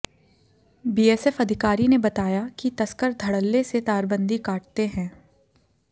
BSF अधिकारी ने बताया कि तस्कर ध़डल्ले से तारबंदी काटते हैं